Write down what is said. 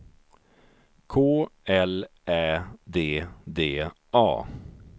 K L Ä D D A